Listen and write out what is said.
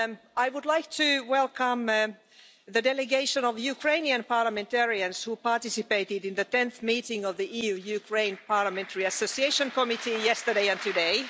I would like to welcome the Delegation of the Ukrainian Parliamentarians who participated in the Tenth meeting of the EU Ukraine Parliamentary Association Committee yesterday and today.